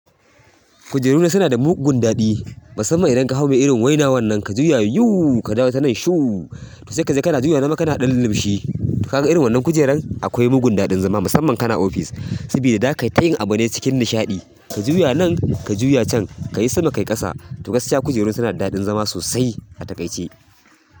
Kujeru na suna da mugun daɗi. Musamman idan ka hau ma irin waina wannan ka juya yuuu, ka dawo ta nan shuooo, to sai ka je kana juya yazama kana ɗan lumshi. Kaga irin wannan kujeran? Akwai mugun daɗin zama musamman kana ofis. Sabida za ka yi ta yin abu ne cikin nishaɗi. Ka juya nan, ka juya can, ka yi sama, ka yi ƙasa. To gaskiya kujeru na suna da daɗin zama sosai a takaice.